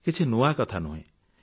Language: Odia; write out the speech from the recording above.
କିଛି ନୂଆ କଥା ନୁହେଁ